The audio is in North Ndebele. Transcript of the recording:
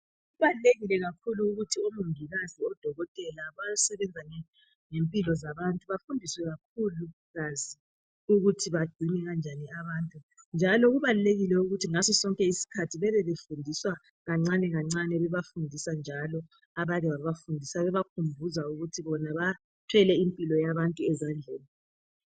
Kubalulekile kakhulu ukuthi omongikazi , odokotela bayesebenza ngempilo zabantu, bafundiswe kakhulukazi ukuthi bagcine kanjani abantu njalo kubalulekile ukuthi ngaso sonke iskhathi bebe befundiswa kancane kancane bebafundisa njalo abake babafundisa bebakhumbuza ukuthi bona bathwele impilo yabantu ezandleni